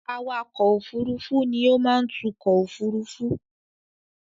Awakọ̀ òfurufú ni ó má ń tukọ̀ òfurufú.